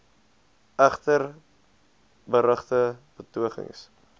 egter berugte betogings